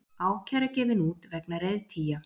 Ákæra gefin út vegna reiðtygja